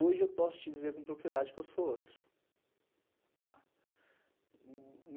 Hoje eu posso te dizer com propriedade que eu sou outro, tá.